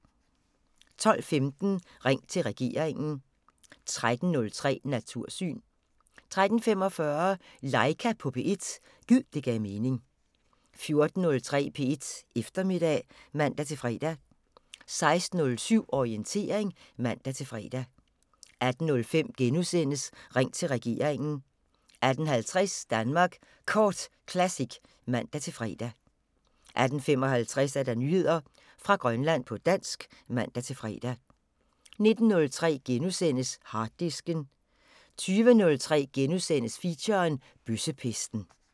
12:15: Ring til regeringen 13:03: Natursyn 13:45: Laika på P1 – gid det gav mening 14:03: P1 Eftermiddag (man-fre) 16:07: Orientering (man-fre) 18:05: Ring til regeringen * 18:50: Danmark Kort Classic (man-fre) 18:55: Nyheder fra Grønland på dansk (man-fre) 19:03: Harddisken * 20:03: Feature – Bøssepesten *